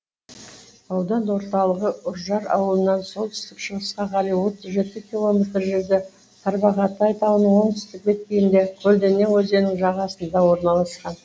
аудан орталығы үржар ауылынан солтүстік шығысқа қарай отыз жеті километр жерде тарбағатай тауының оңтүстік беткейінде көлденең өзенінің жағасында орналасқан